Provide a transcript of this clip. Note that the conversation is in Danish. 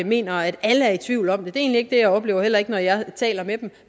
mener at alle er i tvivl om er egentlig ikke det jeg oplever heller ikke når jeg taler med dem